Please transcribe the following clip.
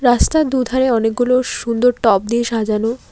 রাস্তার দু'ধারে অনেকগুলো সুন্দর টব দিয়ে সাজানো।